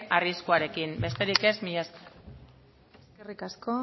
arriskuarekin besterik ez mila esker eskerrik asko